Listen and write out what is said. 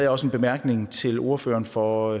også en bemærkning til ordføreren for